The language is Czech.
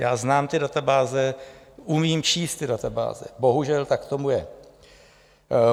Já znám ty databáze, umím číst ty databáze, bohužel tak tomu je.